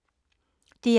DR1